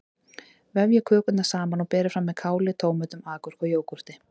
Vefjið kökurnar saman og berið fram með káli, tómötum, agúrku og jógúrt.